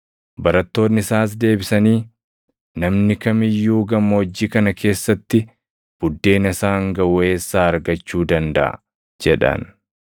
Barattoonni isaas deebisanii, “Namni kam iyyuu gammoojjii kana keessatti buddeena isaan gaʼu eessaa argachuu dandaʼa?” jedhan.